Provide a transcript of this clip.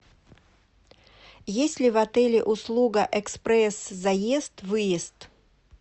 есть ли в отеле услуга экспресс заезд выезд